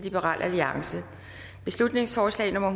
beslutningsforslag nummer